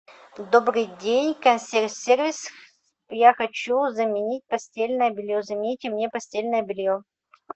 добрый день консьерж сервис я хочу заменить постельное белье замените мне постельное белье